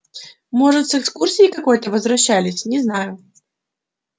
может с экскурсии какой-то возвращались не знаю